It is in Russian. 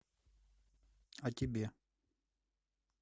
а тебе